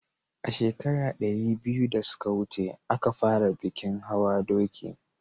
a shekara ɗari biyu da suka wuce a ka fara bikin hawan doki